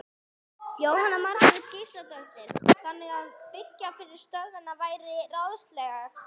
Jóhanna Margrét Gísladóttir: Þannig að byggja yfir stöðina væri ráðlegast?